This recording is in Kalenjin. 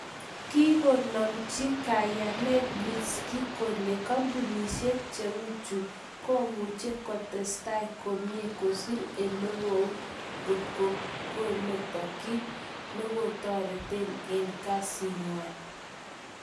Kikonomchi kayanet Leshinsky kole kampunishechu komuche kotestai komnyei kosir olekou kot kometo kit nikokotrenden en kazinywan